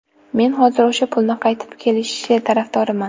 Men hozir o‘sha pulni qaytib kelishi tarafdoriman.